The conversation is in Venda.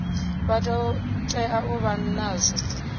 vha tea u vha nazwo